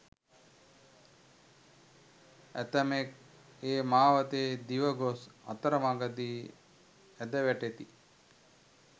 ඇතමෙක් ඒ මාවතේ දිව ගොස් අතරමගදී ඇද වැටෙති.